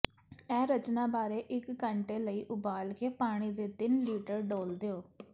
ਇਹ ਰਚਨਾ ਬਾਰੇ ਇੱਕ ਘੰਟੇ ਲਈ ਉਬਾਲ ਕੇ ਪਾਣੀ ਦੇ ਤਿੰਨ ਲੀਟਰ ਡੋਲ੍ਹ ਦਿਓ